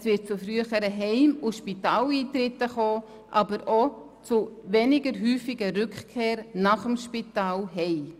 Es wird zu früheren Heim- und Spitaleintritten kommen, aber ebenso zu weniger häufigen Rückkehren aus dem Spital nach Hause.